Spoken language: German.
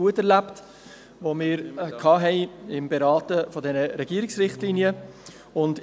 Auch von Seiten der Kommission haben wir diese Zusammenarbeit bei der Beratung dieser Richtlinien als gut erlebt.